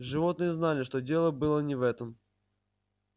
животные знали что дело было не в этом